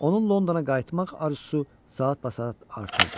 Onun Londona qayıtmaq arzusu saatbasaat artırdı.